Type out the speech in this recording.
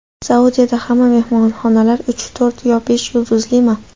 Saudiyada hamma mehmonxonalar uch, to‘rt yo besh yulduzlimi?.